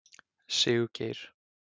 Siggeir